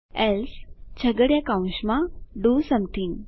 else છગડીયા કૌંસમાં do something